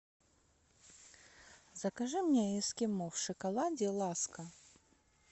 закажи мне эскимо в шоколаде ласка